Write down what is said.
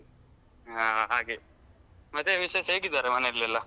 ಹಾ ಹಾಗೆ ಮತ್ತೆ ವಿಶೇಷ ಹೇಗಿದ್ದಾರೆ ಮನೆಯಲ್ಲಿ ಎಲ್ಲ?